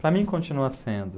Para mim continua sendo.